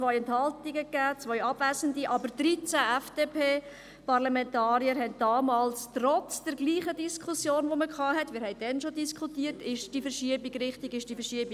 Es gab 2 Enthaltungen, 2 Abwesende, aber 13 FDP-Parlamentarier waren damals trotz der gleichen Diskussion, wie wir sie damals führten, der Meinung, es müsse eine Lösung gefunden werden.